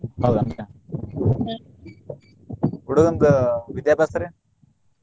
ಹೌದೇನ್ರಿ? ಹುಡಗುಂದ್ ವಿದ್ಯಾಬ್ಯಾಸ್ರಿ?